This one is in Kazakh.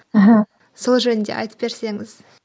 мхм сол жөнінде айтып берсеңіз